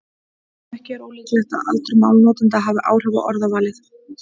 Ekki er ólíklegt að aldur málnotenda hafi áhrif á orðavalið.